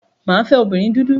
Mà á fẹ́ obìnrin dúdú.